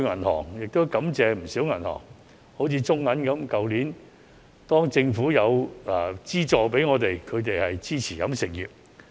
我在此感謝不少銀行，例如中國銀行在去年政府提供資助時，十分支持飲食業。